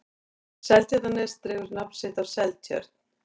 seltjarnarnes dregur nafn sitt af seltjörn